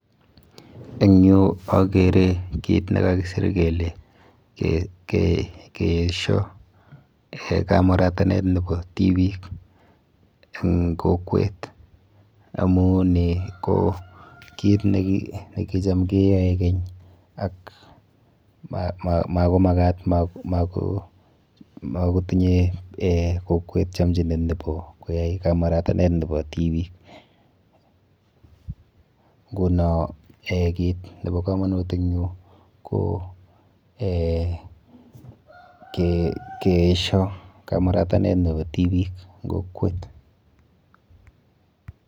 Eng yu akere kit nekakisir kele keesho eh kamuratanet nepo tibiik eng kokwet amu ni ko kit nekicham keyoe keny ak makomakat mako makotinye eh kokwet chomchinet nepo koyai kamuratanet nepo tibiik. Nkuno eh kit nepo komonut eng yu ko eh keesho kamuratanet nepo tibiik eng kokwet.